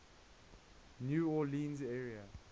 new orleans area